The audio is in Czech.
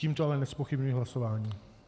Tímto ale nezpochybňuji hlasování.